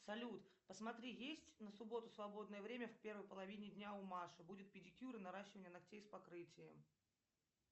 салют посмотри есть на субботу свободное время в первой половине дня у маши будет педикюр и наращивание ногтей с покрытием